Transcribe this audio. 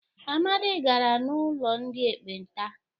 Amadi gara n'ulo ndị ekpenta.